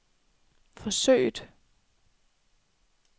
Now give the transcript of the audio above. forsøget